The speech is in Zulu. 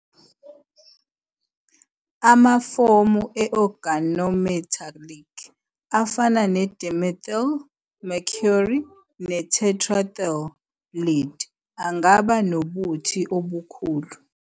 Amafomu e- Organometallic afana ne-dimethyl mercury ne- tetraethyl lead angaba nobuthi obukhulu.